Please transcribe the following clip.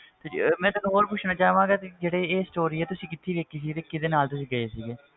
ਤੇ ਜੀ ਮੈਂ ਤੈਨੂੰ ਹੋਰ ਪੁੱਛਣਾ ਚਾਹਾਂਗਾ ਕਿ ਜਿਹੜੀ ਇਹ story ਆ ਤੁਸੀਂ ਕਿੱਥੇ ਦੇਖੀ ਸੀ ਤੇ ਕਿਹਦੇ ਨਾਲ ਤੁਸੀਂ ਗਏ ਸੀਗੇ,